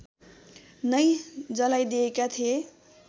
नै जलाइदिएका थिए